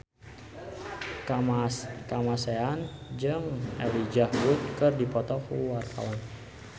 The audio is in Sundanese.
Kamasean jeung Elijah Wood keur dipoto ku wartawan